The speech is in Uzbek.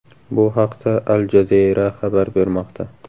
Bu haqda Al Jazeera xabar bermoqda .